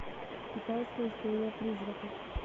китайская история призраков